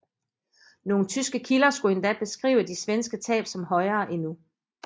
Nogle tyske kilder skulle endda beskrive de svenske tab som højere endnu